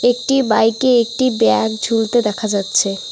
একটি বাইকে একটি ব্যাগ ঝুলতে দেখা যাচ্ছে।